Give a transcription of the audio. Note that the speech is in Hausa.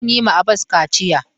Zan yi ma Abas kaciya.